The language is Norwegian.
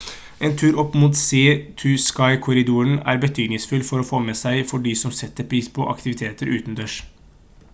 en tur opp mot sea to sky-korridoren er betydningsfull å få med seg for de som setter pris på aktiviteter utendørs